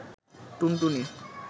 টুনটুনি